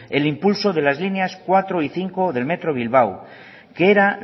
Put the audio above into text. el impulso de las líneas cuatro y cinco del metro bilbao que era